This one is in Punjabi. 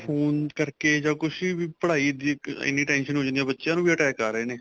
phone ਕਰਕੇ ਜਾਂ ਕੁੱਛ ਵੀ ਪੜਾਈ ਦੀ ਐਨੀਂ tension ਹੋ ਜਾਂਦੀ ਹੈ ਬੱਚਿਆ ਨੂੰ ਵੀ attack ਆ ਰਹੇ ਨੇ